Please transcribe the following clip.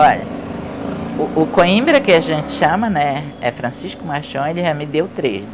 Olha, o o Coimbra, que a gente chama, né, é Francisco Machoni, já me deu três.